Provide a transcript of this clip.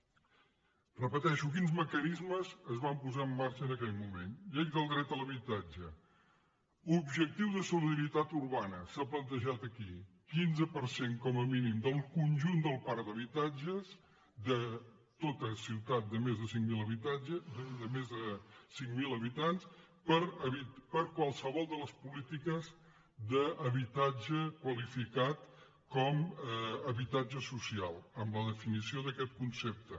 ho repeteixo quins mecanismes es van posar en marxa en aquell moment llei del dret a l’habitatge objectiu de solidaritat urbana s’ha plantejat aquí quinze per cent com a mínim del conjunt del parc d’habitatges de tota ciutat de més de cinc mil habitants per a qualsevol de les polítiques d’habitatge qualificat com a habitatge social amb la definició d’aquest concepte